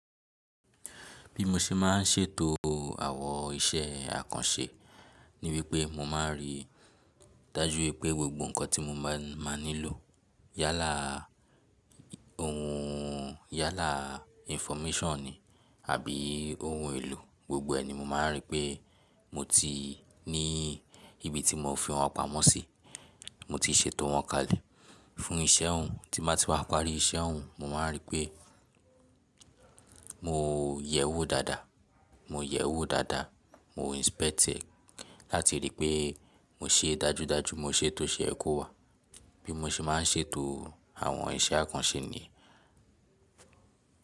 Bí mo ṣe máa ń ṣètò àwọn iṣẹ́ àkànṣe ni wípé mo máa ń rí dájú pé gbogbo ǹkan tí mo máa máa nílò yálà ohun yálà infomíṣọ̀n ni àbí ohun èlò gbogbo ẹni mo máa ń rí pé mo ti ní ibi tí mo fi wọn pamọ́ sí, mo ti ṣètò wọn kalẹ̀. Fún iṣẹ́ ohun tí máa ti wá parí iṣẹ́ ohun mo máa ń rí pé mo yẹ̀ ẹ́ wò dáadáa, mo yẹ̀ ẹ́ wò dáadáa, mo inspect ẹ, láti ríi pé mo ṣe é dájúdájú, mo ṣe é tó ṣe ẹ́ kó wà. Bí mo ṣe máa ń ṣètò àwọn iṣẹ́ àkànṣe ni.